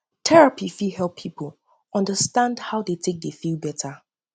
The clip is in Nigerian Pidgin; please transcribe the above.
therapy fit help therapy fit help pipo undastand how dem take dey feel beta